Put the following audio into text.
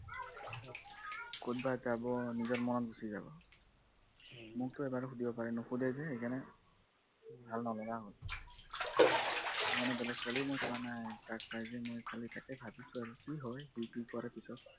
কত বা যাব নিজৰ মনত গুপচি যাব মোকটো এবাৰো শুধিব পাৰে নুশুধে যে ভাল নলগা হল মানে বেলেগ ছোৱালীও মই চোৱা নাই মই ততাক পাই যে তাকে ভাবিছো আৰু কি হয়